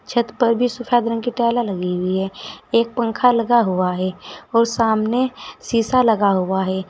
छत पर भी सफेद रंग की टाइलें लगी हुई हैं। एक पंख लगा हुआ है और सामने शीशा लगा हुआ है।